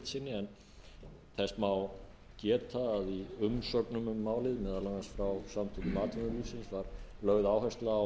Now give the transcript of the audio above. en þess má geta að í umsögnum um málið meðal annars frá samtökum atvinnulífsins var lögð áhersla á